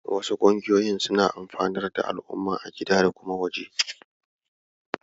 Wasu ƙungiyoyin suna amfanar da alumma a gida da kuma waje.